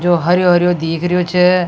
जो हरो हरो दीख रहो छ।